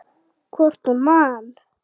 Hvort hún man!